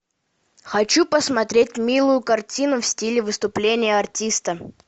хочу посмотреть милую картину в стиле выступления артиста